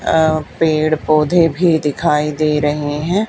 पेड़ पौधे भी दिखाई दे रहे हैं।